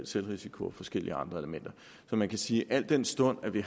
selvrisiko og forskellige andre elementer så man kan sige at al den stund vi